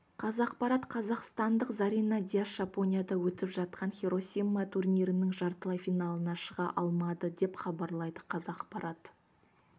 қазақпарат қазақстандық зарина дияс жапонияда өтіп жатқан хиросима турнирінің жартылай финалына шыға алмады деп хабарлайды қазақпарат